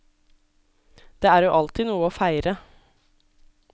Det er jo alltid noe å feire.